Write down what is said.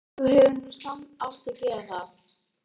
Þú hefðir nú samt átt að gera það.